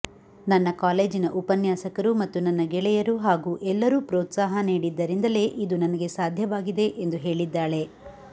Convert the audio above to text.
ನನ್ನ ಕಾಲೇಜಿನ ಉಪನ್ಯಾಸಕರು ಮತ್ತು ನನ್ನ ಗೆಳೆಯರು ಹಾಗೂ ಎಲ್ಲರೂ ಪ್ರೋತ್ಸಾಹ ನೀಡಿದ್ದರಿಂದಲೇ ಇದು ನನಗೆ ಸಾಧ್ಯವಾಗಿದೆ ಎಂದು ಹೇಳಿದ್ದಾಳೆ